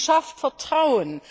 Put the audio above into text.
Sie schafft Vertrauen.